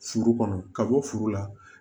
Furu kɔnɔ ka bɔ furu la